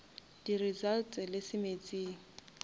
di results le se meetseng